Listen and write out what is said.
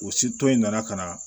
O sitɔ in nana ka na